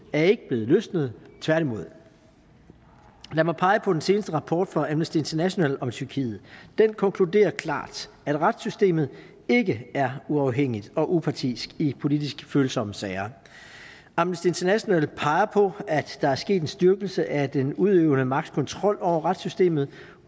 er ikke blevet løsnet tværtimod lad mig pege på den seneste rapport fra amnesty international om tyrkiet den konkluderer klart at retssystemet ikke er uafhængigt og upartisk i politisk følsomme sager amnesty international peger på at der er sket en styrkelse af den udøvende magts kontrol over retssystemet